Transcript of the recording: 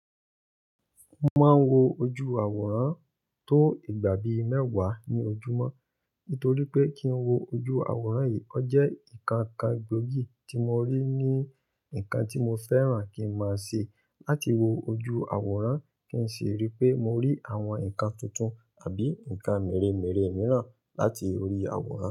Mo máa ń wo ojú awòrán tó ìgbà bi mẹ́wàá ní ojúmọ́. Nítorí pé kí ń wo ojú awòrán yìí, o jẹ́ nǹkan kan gbòógì tí mo rí ní nǹkan tí mo fẹ́ràn kí ń máa ṣe. Láti wo ojú awòrán kì n si rí pé mo rí àwọn nǹkan tuntun àbí nǹkan mèremère mìíràn láti orí awòrán.